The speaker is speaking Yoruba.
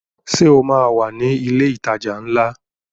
Ṣé o máa wà ní ilé ìtajà ńlá?